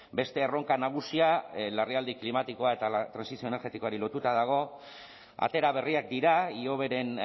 beste erronka nagusia larrialdi klimatikoa eta trantsizio energetikoari lotuta dago atera berriak dira ihoberen